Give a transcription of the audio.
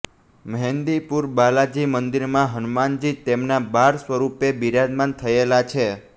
મહેંદીપુર બાલાજી મંદિરમાં હનુમાનજી તેમના બાળ સ્વરૂપે બિરાજમાન થયેલા છે